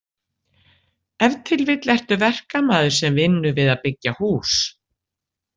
Ef til vill ertu verkamaður sem vinnur við að byggja hús.